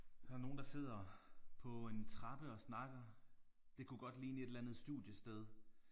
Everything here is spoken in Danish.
Her er nogle der sidder på en trappe og snakker. Det kunne godt ligne et eller andet studiested